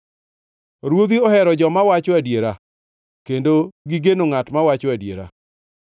Ruodhi ohero joma wacho adiera kendo gigeno ngʼat mawacho adiera.